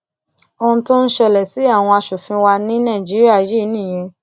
ohun tó ń ṣẹlẹ sí àwọn asòfin wa ní nàìjíríà yìí nìyẹn